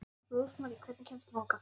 Rósmarý, hvernig kemst ég þangað?